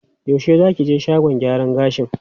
Yaushe za ki je shagon gyaran gashin?